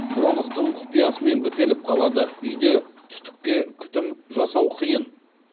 бронхтың құпиясымен бітеліп қалады